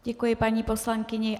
Děkuji paní poslankyni.